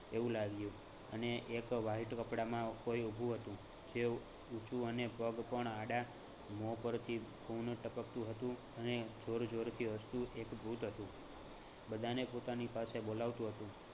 એવું લાગ્યું અને એક white કપડાંમાં કોઈ ઊભું હતુ તેવું ઊંચું અને પગ પણ આડા મોં પરથી ખૂન ટપકતું હતું અને જોર જોરથી હસતું એક ભૂત હતું. બધાને પોતાની પાસે બોલાવતું હતું.